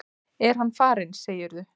Er hann farinn, segirðu?